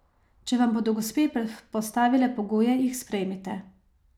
Če vam bodo gospe postavile pogoje, jih sprejmite.